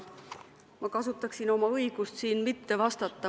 Aga ma kasutaksin oma õigust mitte vastata.